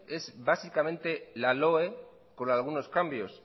es básicamente la loe con algunos cambios